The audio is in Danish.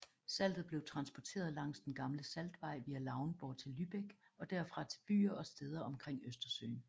Saltet blev transportert langs den gamle saltvej via Lauenburg til Lübeck og derfra til byer og steder omkring Østersøen